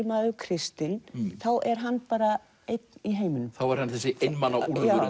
maður kristinn þá er hann bara einn í heiminum þá er hann þessi einmana úlfur